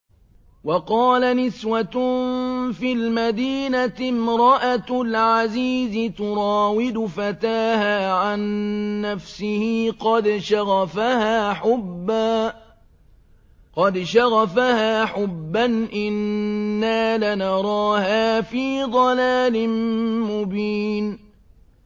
۞ وَقَالَ نِسْوَةٌ فِي الْمَدِينَةِ امْرَأَتُ الْعَزِيزِ تُرَاوِدُ فَتَاهَا عَن نَّفْسِهِ ۖ قَدْ شَغَفَهَا حُبًّا ۖ إِنَّا لَنَرَاهَا فِي ضَلَالٍ مُّبِينٍ